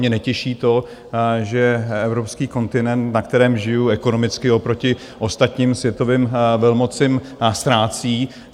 Mě netěší to, že evropský kontinent, na kterém žiju, ekonomicky oproti ostatním světovým velmocem ztrácí.